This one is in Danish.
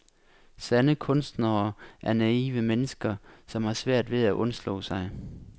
Sande kunstnere er naive mennesker, som har svært ved at undslå sig.